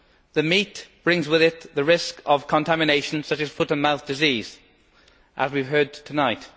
The meat brings with it the risk of contamination such as foot and mouth disease, as we have heard tonight.